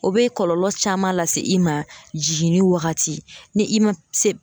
O be kɔlɔlɔ caman lase i ma jiginni wagati ni i ma se.